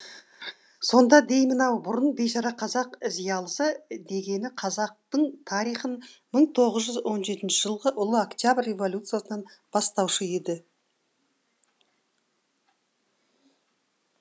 сонда деймін ау бұрын бейшара қазақ зиялысы дегені қазақтың тарихын бір мың тоғыз жүз он жетінщі жылғы ұлы октябрь революциясынан бастаушы еді